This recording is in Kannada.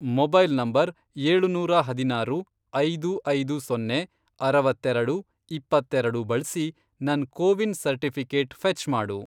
ಮೊಬೈಲ್ ನಂಬರ್, ಏಳುನೂರಾ ಹದಿನಾರು, ಐದು ಐದು ಸೊನ್ನೆ, ಅರವತ್ತೆರೆಡು, ಇಪ್ಪತ್ತೆರೆಡು, ಬಳ್ಸಿ ನನ್ ಕೋವಿನ್ ಸರ್ಟಿಫಿ಼ಕೇಟ್ ಫೆ಼ಚ್ ಮಾಡು.